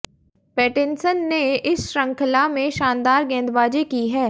Pattinson ने इस शृंखला में शानदार गेंदबाजी की है